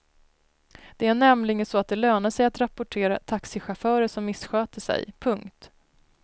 Det är nämligen så att det lönar sig att rapportera taxichaufförer som missköter sig. punkt